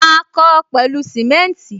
Ma kó o pẹlu simenti